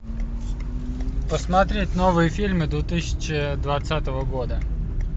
посмотреть новые фильмы две тысячи двадцатого года